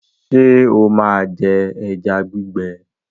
ṣe o má jé eja gbigbe?